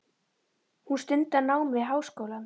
Hún stundar nám við háskólann.